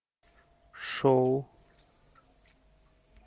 шоу